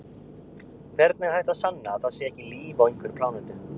Hvernig er hægt að sanna að það sé ekki líf á einhverri plánetu?